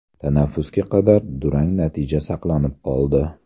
Tanaffusga qadar durang natija saqlanib qoldi.